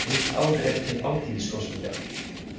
Rúmt ár er til Alþingiskosninga.